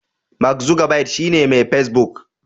Mark Zuckerberg shi ne Mai Facebook.